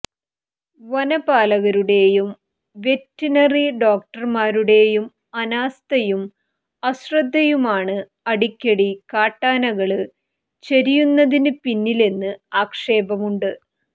വനപാലകരുടെയും veterinary ഡോക്ടര്മാരുടെയും അനാസ്ഥയും അശ്രദ്ധയുമാണ് അടിക്കടി കാട്ടാനകള് ചരിയുന്നതിനു പിന്നിലെന്ന് ആക്ഷേപമുണ്ട്